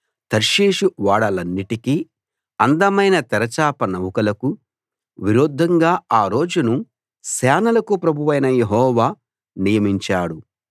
తర్షీషు ఓడలన్నిటికీ అందమైన తెరచాప నౌకలకూ విరుద్ధంగా ఆ రోజును సేనలకు ప్రభువైన యెహోవా నియమించాడు